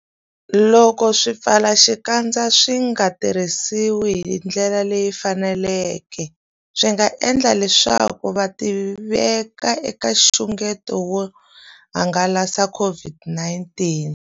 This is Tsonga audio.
Loko swipfalaxikandza swi nga tirhisiwi hi ndlela leyi faneleke, swi nga endla leswaku vatirhisi va tiveka eka nxungeto wo hangalasa COVID-19.